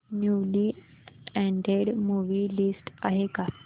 newly added movie list आहे का